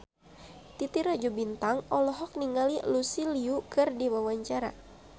Titi Rajo Bintang olohok ningali Lucy Liu keur diwawancara